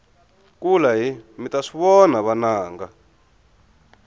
kulahi mita swivona vananga